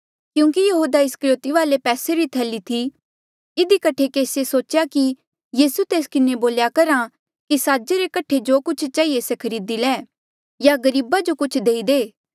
क्यूंकि यहूदा इस्करयोति वाले पैसे री थैली थी इधी कठे केसिए सोच्या कि यीसू तेस किन्हें बोल्या करहा कि साजे रे कठे जो कुछ चहिए से खरीदी ले या गरीबा जो कुछ देई दे